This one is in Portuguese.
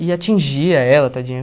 E atingia ela, tadinha.